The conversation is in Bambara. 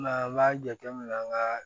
Nga an b'a jate minɛ an ka